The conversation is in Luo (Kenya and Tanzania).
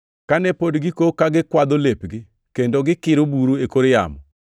Kane pod gikok ka gikwadho lepgi kendo gikiro bura e kor yamo,